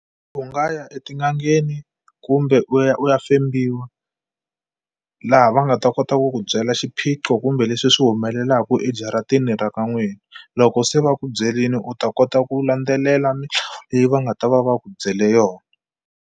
U nga ya etin'angeni kumbe u ya u ya fembiwa laha va nga ta kota ku ku byela xiphiqo kumbe leswi swi humelelaku ejaratini ra ka n'wina loko se va ku byerini u ta kota ku landzelela leyi va nga ta va va ku byele yona.